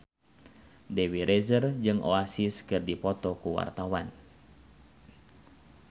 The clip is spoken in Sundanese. Dewi Rezer jeung Oasis keur dipoto ku wartawan